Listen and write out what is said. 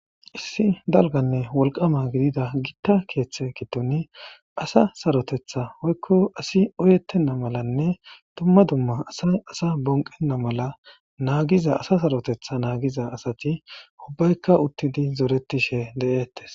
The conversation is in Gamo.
Issi dalganne wolqama gidida gitta keeththe gitoni asa sarotetha hoykko asi oyettenna malanne dumma dumma asay asa bonqenna mala naagiza asa sarotetha naagiza asati ubbaykka uttidi zoretishe de'ettes.